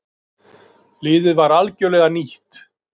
Liðið var algjörlega nýtt.